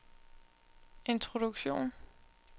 introduktion